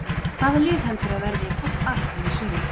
Hvaða lið heldurðu að verði í toppbaráttunni í sumar?